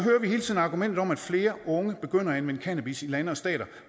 hele tiden argumentet om at flere unge begynder at anvende cannabis i lande og stater